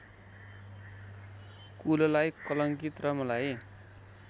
कुललाई कलंकित र मलाई